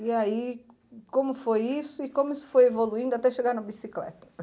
E aí, como foi isso e como isso foi evoluindo até chegar na bicicleta?